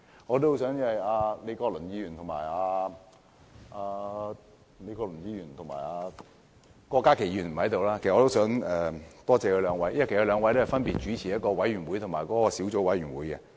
我也多謝李國麟議員和郭家麒議員——他們不在席——因為他們分別主持了一個委員會及小組委員會。